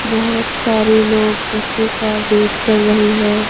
बहुत सारे लोग बसों का वेट कर रहे है।